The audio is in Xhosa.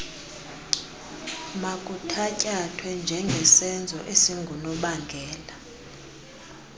makuthatyathwe njengesenzo esingunobangela